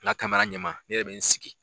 N ka ɲɛ ma ne yɛrɛ bɛ n sigi.